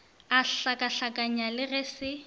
a hlakahlakanya le ge se